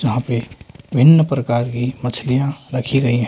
यहां पे भिन्न प्रकार की मछलियां रखी गई है।